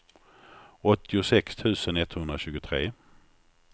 åttiosex tusen etthundratjugotre